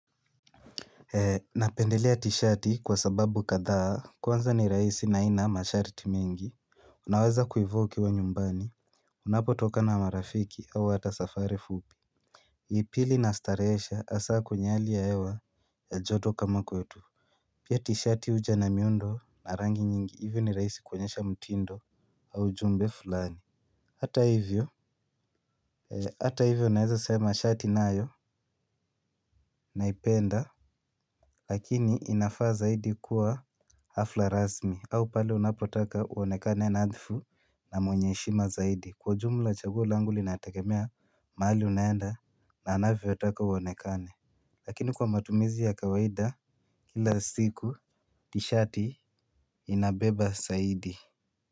Napendelea t-shirt kwa sababu kadhaa, kwanza ni rahisi na haina masharti mengi. Unaweza kuivoke wa nyumbani. Unapotoka na marafiki au hata safari fupi pili inastarehesha hasa kwenye hali ya hewa ya joto kama kwetu. Pia t-shirt huja na miundo na rangi nyingi hivyo ni rahisi kuonyesha mtindo au jumbe fulani. Hata hivyo hata hivyo naweza sema mashati nayo naipenda. Lakini inafaa zaidi kuwa hafla rasmi au pale unapotaka uonekane nadhifu na mwenye heshima zaidi kwa jumla chaguo langu linategemea mahali unaenda na anavyotaka uonekane. Lakini kwa matumizi ya kawaida kila siku tshirt inabeba zaidi.